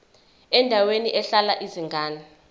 endaweni ehlala izingane